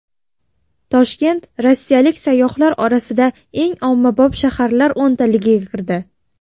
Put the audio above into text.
Toshkent rossiyalik sayyohlar orasida eng ommabop shaharlar o‘ntaligiga kirdi.